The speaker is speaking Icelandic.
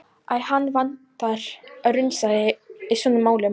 Æ, hann vantar allt raunsæi í svona málum.